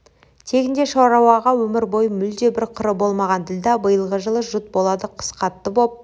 тегінде шаруаға өмір бойы мүлде бір қыры болмаған ділдә биылғы жылы жұт болады қыс қатты боп